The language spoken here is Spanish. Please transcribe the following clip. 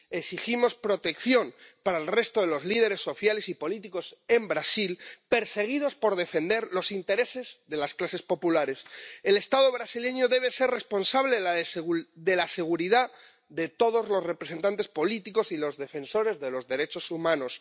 Exigimos protección para el resto de los líderes sociales y políticos en Brasil perseguidos por defender los intereses de las clases populares. El Estado brasileño debe ser responsable de la seguridad de todos los representantes políticos y los defensores de los derechos humanos.